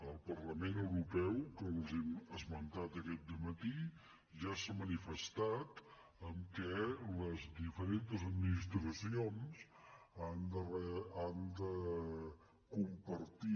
el parlament europeu els ho he esmentat aquest dematí ja ha manifestat que les diferents administracions han de compartir